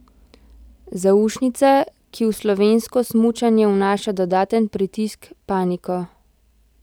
Zaušnica, ki v slovensko smučanje vnaša dodaten pritisk, paniko.